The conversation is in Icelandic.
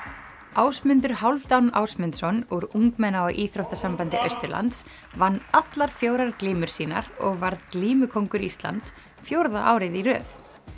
Ásmundur Hálfdán Ásmundsson úr ungmenna og íþróttasambandi Austurlands vann allar fjórar glímur sínar og varð glímukóngur Íslands fjórða árið í röð